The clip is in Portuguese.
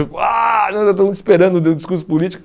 esperando o discurso político.